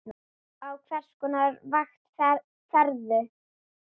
Á hvers konar vakt ferðu?